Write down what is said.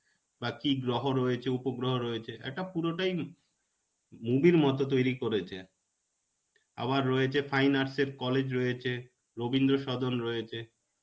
বা কি গ্রহ রয়েছে উপগ্রহ রয়েছে একটা পুরোটাই ম~ movie র মতো তৈরী করেছে. আবার রয়েছে fine arts এর college রয়েছে. রবীন্দ্র সদন রয়েছে.